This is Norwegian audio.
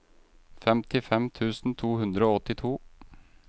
femtifem tusen to hundre og åttito